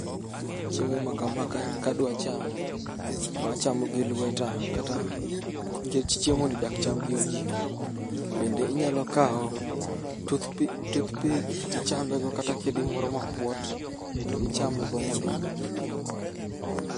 Chiemo makama kadwa chamo to achamo gi lweta kata nikech chiemoni dak cham gi ojiko. Bende inyalo kawo toothpick to ichamego kata kedi moro mapuot to ichame go mondo.